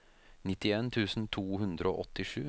nittien tusen to hundre og åttisju